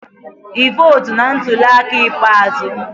Ị votu na ntuli aka ikpeazụ?